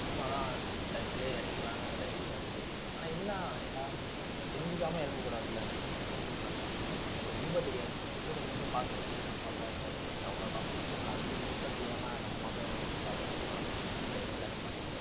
களத்துலயே இறங்கிடலான்னு ஒரு idea இருக்கு. ஆனா என்ன எல்லாம் தெரிஞ்சுக்காம இறங்கூடாதுல ஒரு விஷயத்துல. எனக்கு ரொம்ப தெரியாது, சின்ன வயசுல கொஞ்சம் கொஞ்சம் பாத்திருக்கேன் அம்மா அப்பா கூட சேர்ந்து அவ்வளோ தான். நான் அதை பத்தி முழுசா தெரியாம நம்ம மட்டும் காலை வச்சுட்டோம்னா அப்புறம் தானே மாட்டிட்டு